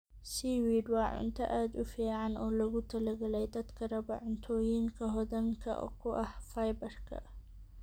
Seaweed waa cunto aad u fiican oo loogu talagalay dadka raba cuntooyinka hodanka ku ah fiber-ka.